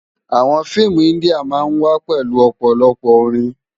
Àwòn fiimú indiá má n wá pèlú òpòlòpò órin